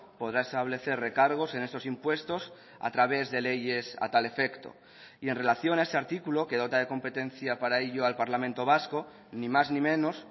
podrá establecer recargos en estos impuestos a través de leyes a tal efecto y en relación a ese artículo que dota de competencia para ello al parlamento vasco ni más ni menos